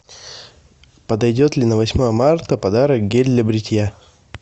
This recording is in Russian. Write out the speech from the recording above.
подойдет ли на восьмое марта подарок гель для бритья